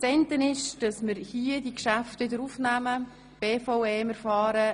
Wir werden am Montagnachmittag mit diesem Geschäft weiterfahren.